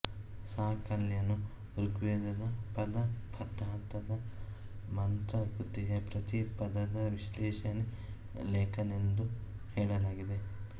ಸಾಕಲ್ಯನು ಋಗ್ವೇದದ ಪಾದಪಾಥದ ಮಂತ್ರ ಕೃತಿಯ ಪ್ರತಿ ಪದದ ವಿಶ್ಲೇಷಣೆ ಲೇಖಕನೆಂದು ಹೇಳಲಾಗಿದೆ